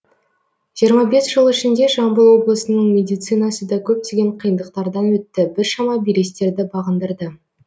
жиырма бес жыл ішінде жамбыл облысының медицинасы да көптеген қиындықтардан өтті біршама белестерді бағындырды